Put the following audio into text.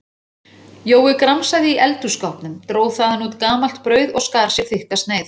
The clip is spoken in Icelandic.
Jói gramsaði í eldhússkápnum, dró þaðan út gamalt brauð og skar sér þykka sneið.